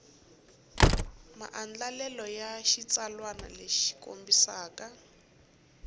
maandlalelo ya xitsalwana lexi kombisaka